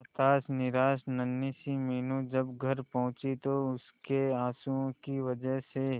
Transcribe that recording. हताश निराश नन्ही सी मीनू जब घर पहुंची तो उसके आंसुओं की वजह से